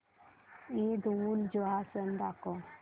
ईदउलजुहा सण दाखव